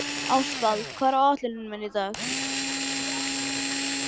Ástvald, hvað er á áætluninni minni í dag?